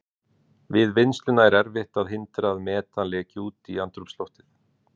Við vinnsluna er erfitt að hindra að metan leki út í andrúmsloftið.